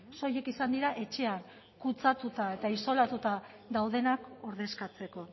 soilik izan dira etxean kutsatuta eta isolatuta daudenak ordezkatzeko